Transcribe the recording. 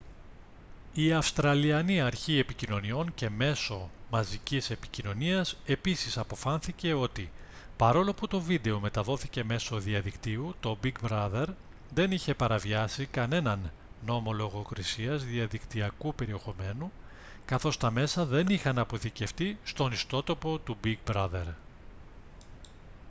η αυστραλιανή αρχή επικοινωνιών και μέσω μαζικής επικοινωνίας επίσης αποφάνθηκε ότι παρόλο που το βίντεο μεταδόθηκε μέσω διαδικτύου το big brother δεν είχε παραβιάσει κανέναν νόμο λογοκρισίας διαδικτυακού περιεχομένου καθώς τα μέσα δεν είχαν αποθηκευτεί στον ιστότοπο του big brother